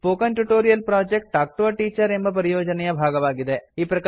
spoken tutorial project talk to a teacher ಎಂಬ ಪರಿಯೋಜನೆಯ ಭಾಗವಾಗಿದೆ